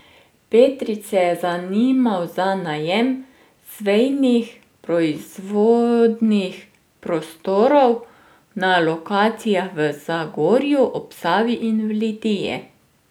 Petrič se je zanimal za najem Sveinih proizvodnih prostorov na lokacijah v Zagorju ob Savi in v Litiji.